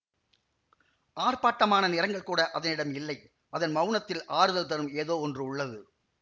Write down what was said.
ஆர்ப்பாட்டமான நிறங்கள்கூட அதனிடம் இல்லை அதன் மவுனத்தில் ஆறுதல் தரும் ஏதோ ஒன்று உள்ளது